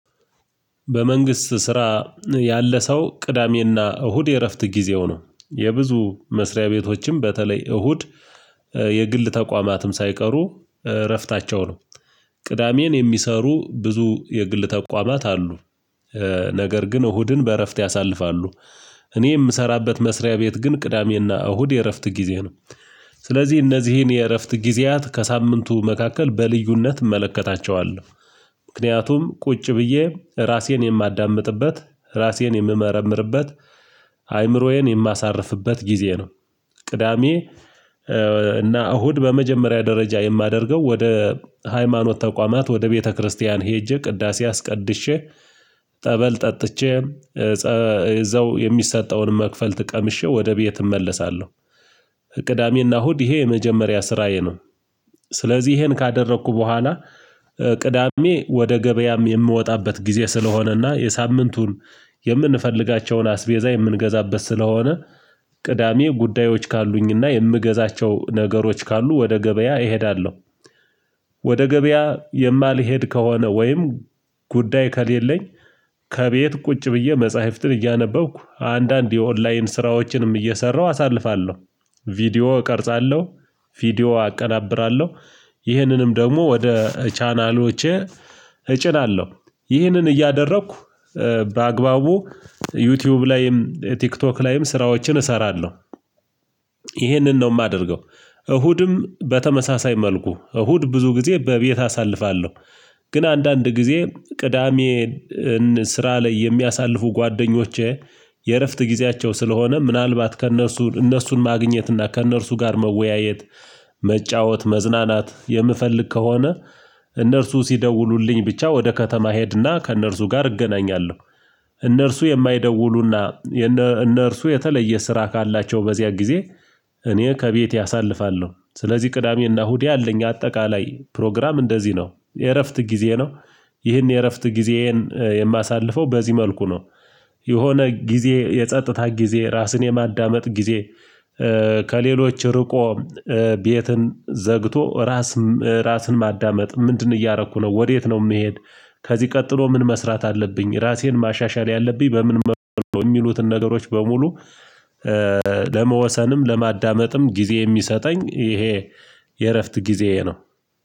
በመንግስት ስራ ያለ ሰው ቅዳሜና እሁድ የእረፍት ጊዜው ነው የብዙ መስሪያ ቤቶችም በተለይ እሁድ የግል ተቋማትም ሳይቀሩ እረፍታቸው ነው። ቅዳሜን የሚሰሩ ብዙ የግል ተቋማት አሉ ነገር ግን እሁድን በእረፍት ያሳልፋሉ። እኔ የምሰራበት መስሪያ ቤት ግን ቅዳሜና እሁድ የእረፍት ጊዜ ነው። ስለዚህ እነዚህን የእረፍት ጊዜያት ከሳምንቱ መካከል በልዩነት እመለከታቸዋለሁ። ምክንያቱም ቁጭ ብዬ ራሴን የማዳምጥበት ራሴን የምመረምርበት አእምሮዬን የማሳርፍበት ጊዜ ነው። ቅዳሜ እና እሁድ በመጀመሪያ ደረጃ የማደርገው ወደ ሃይማኖት ተቋማት ወደ ቤተክርስቲያን ሄጄ ቅዳሴ አስቀድሼ ጠበል ጠጥቼ እዛው የሚሰጠውን መክፈልት ቀምሼ ወደ ቤት እመለሳለሁ። ቅዳሜና እሁድ ይሄ የመጀመሪያ ስራዬ ነው። ስለዚህ ይሄን ካደረኩ በኋላ ቅዳሜ ወደ ገበያም የምወጣበት ጊዜ ስለሆነና የሳምንቱን የምንፈልጋቸውን አስቤዛ የምንገዛበት ስለሆነ ቅዳሜ ጉዳዮች ካሉኝና የምገዛቸው ነገሮች ካሉ ወደ ገበያ እሄዳለሁ። ወደ ገበያ የማልሄድ ከሆነ ወይም ጉዳይ ከሌለኝ ከቤት ቁጭ ብዬ መጽሐፍትን እያነበብኩ አንዳንድ የኦንላይን ስራዎችንም እየሰራሁ አሳልፋለሁ። ቪዲዮ እቀርጻለሁ ቪዲዮ አቀናብራለሁ ይህንንም ደግሞ ወደ ቻናሎቼ እጭናለሁ። ይህንን እያደረኩ በአግባቡ ዩቲዩብ ላይም ቲክቶክ ላይም ስራዎችን እሰራለሁ። ይሄንን ነው የማደርገው እሁድም በተመሳሳይ መልኩ እሁድ ብዙ ጊዜ በቤት አሳልፋለሁ። ግን አንዳንድ ጊዜ ቅዳሜ ስራ ላይ የሚያሳልፉ ጓደኞቼ የእረፍት ጊዜያቸው ስለሆነ ምናልባት ከእነርሱ እነርሱን ማግኘት እና ከእነርሱ ጋር መወያየት መጫወት መዝናናት የምፈልግ ከሆነ እነርሱ ሲደውሉልኝ ብቻ ወደ ከተማ ሄድና ከእነርሱ ጋር እገናኛለሁ። እነርሱ የማይደውሉና እነርሱ የተለየ ስራ ካላቸው በዚያ ጊዜ እኔ ከቤቴ አሳልፋለሁ ስለዚህ ቅዳሜና እሁድ ያለኝ አጠቃላይ ፕሮግራም እንደዚህ ነው የእረፍት ጊዜ ነው። ይህን የእረፍት ጊዜዬን የማሳልፈው በዚህ መልኩ ነው። የሆነ ጊዜ የጸጥታ ጊዜ ራስን የማዳመጥ ጊዜ ከሌሎች ርቆ ቤትን ዘግቶ ራስ ራስን ማዳመጥ ምንድነው? እያረኩ ነው። ወዴት ነው የምሄድ? ከዚህ ቀጥሎ ምን መስራት አለብኝ ራሴን ማሻሻል ያለብኝ በምን መልኩ የሚሉትን ነገሮች በሙሉ ለመወሰንም ለማዳመጥም ጊዜ የሚሰጠኝ ይሄ የእረፍት ጊዜዬ ነው